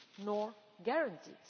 or guaranteed.